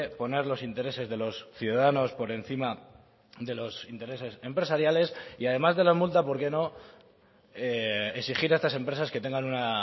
poner los intereses de los ciudadanos por encima de los intereses empresariales y además de la multa por qué no exigir a estas empresas que tengan una